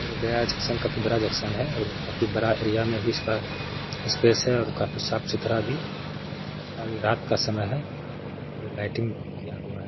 और गया जंक्शन काफी बड़ा जंक्शन है और काफी बड़ा एरिया में भी इसका स्पेस है और काफी साफ-सुथरा भी और ये रात का समय है और ये लाइटिंग किया हुआ है।